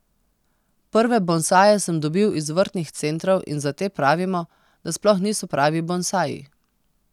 Prve bonsaje sem dobil iz vrtnih centrov in za te pravimo, da sploh niso pravi bonsaji.